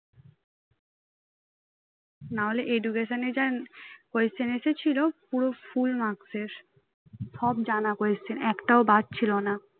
না হলে education এর যা question এসেছিল পুরো full marks এর সব জানা question একটাও বাদ ছিল না